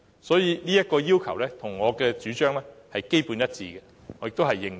所以，這要求與我的主張基本上是一致的，而我也認同。